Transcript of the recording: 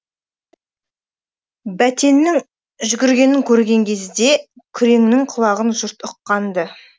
бәтеннің жүгіргенін көрген кезде күреңнің құлағанын жұрт ұққан ды